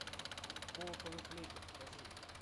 колокол и флейта покажи